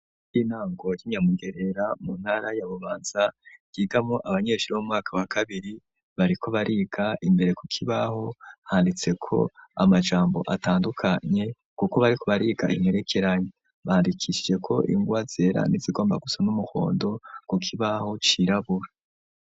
Ishure ry'intango y'inyamugerera mu ntara ya bubanza ryigamwo abanyeshure b'umwaka wa kabiri bariko bariga imbere ku kibaho handitse ko amajambo atandukanye kuko bariko bariga imperekeranya bandikishijeko ingwa zera ndetse igomba gusa n'umuhondo ku kibaho cirabura.